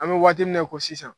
An bɛ waati min na i ko sisan